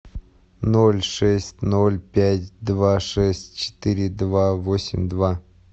ноль шесть ноль пять два шесть четыре два восемь два